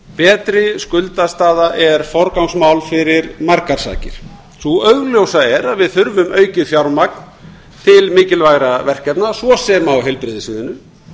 betri skuldastaða er forgangsmál fyrir margar sakir sú augljósa er að við þurfum aukið fjármagn til mikilvægra verkefna svo sem á heilbrigðissviðinu